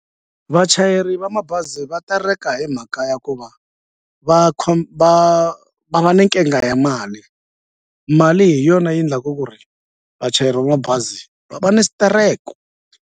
Vachayeri va mabazi va tereka hi mhaka ya ku va va va nga ni nkingha ya mali mali hi yona yi ndlaku ku ri vachayeri va mabazi va va ni xitereko.